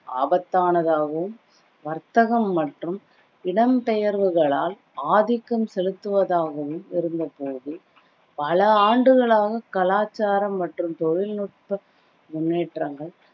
ஆபத்தானதாகவும் வர்த்தகம் மற்றும் இடம் பெயர்வுகளால் ஆதிக்கம் செலுத்துவதாகவும் இருந்த பொழுது பல ஆண்டுகளாக கலாச்சாரம் மற்றும் தொழில்நுட்ப முன்னேற்றங்கள்